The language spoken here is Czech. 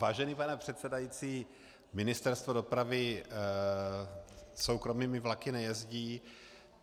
Vážený pane předsedající, Ministerstvo dopravy soukromými vlaky nejezdí.